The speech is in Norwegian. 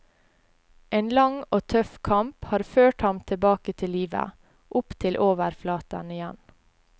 En lang og tøff kamp har ført ham tilbake til livet, opp til overflaten igjen.